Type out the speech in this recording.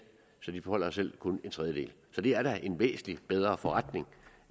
så de beholder selv kun en tredjedel så det er da en væsentlig bedre forretning